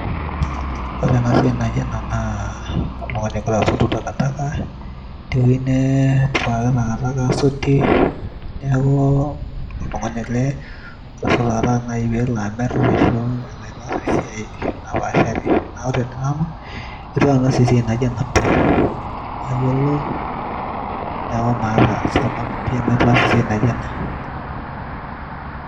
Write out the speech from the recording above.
ore enasiai naijo ena naa oltung'ani ogira asotu takataka tewueji netipikaki takataka asotie neku oltung'ani ele ogira asotu takataka naaji peelo amirr ashu elo aitaas ae siai napaashari niaku ore tenanu etu aikata nanu aas esiai naijo ena pii mayiolo neeku maata sababu pii amu itu aikata aas esiai naijo ena.